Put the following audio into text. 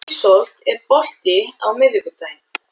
Ísold, er bolti á miðvikudaginn?